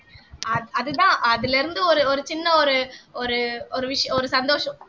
அஹ் அதுதான் அதுல இருந்து ஒரு ஒரு சின்ன ஒரு ஒரு ஒரு விஷயம் ஒரு சந்தோஷம்